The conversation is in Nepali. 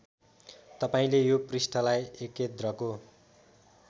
तपाईँले यो पृष्ठलाई एकेद्रको